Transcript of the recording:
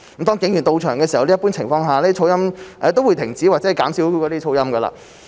當警員到場時，一般情況下噪音也會停止或減少發出噪音。